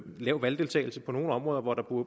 lav valgdeltagelse på nogle områder hvor der